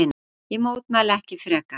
Ég mótmælti ekki frekar.